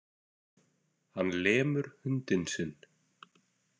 Hann lemur hundinn sinn.